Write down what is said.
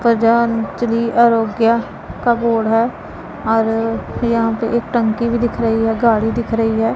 प्रधानमंत्री आरोग्य का बोर्ड है और यहां पे एक टंकी भी दिख रही है गाड़ी दिख रही है।